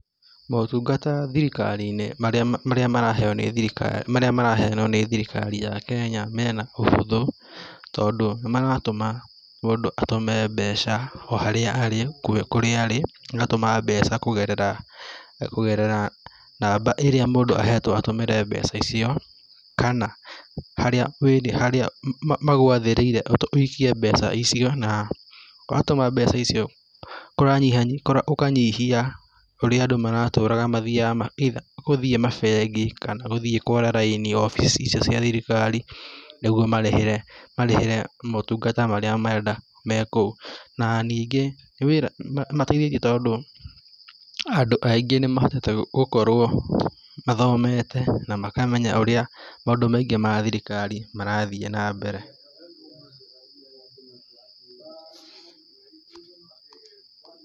Motungata thirikari-inĩ marĩa maraheo nĩ thirikari, maria maraheanwo nĩ thirikari ya kenya mena ũhũthũ, tondũ nĩmaratũma mũndũ atũme mbeca o harĩa arĩ, kũrĩa arĩ, agatũma mbeca kũgerera, kũgerera namba iria mũndũ ahetwo atũmĩre mbeca icio, kana harĩa, harĩa magwathĩrĩire ũikie mbeca icio na watũma mbeca icio, kũranyi ũkanyihia ũrĩa andũ maratũraga mathiaga mabengi, kana gũthiĩ kwara raini obici icio cia thirikari nĩguo marĩhĩre, marĩhĩre motungata marĩa marenda me kũu. Na ningĩ nĩ wĩra ũmateithĩtie tondũ andũ aingĩ nĩmahotete gũkorwo mathomete na makamenya ũrĩa maũndũ maingĩ ma thirikari marathiĩ na mbere.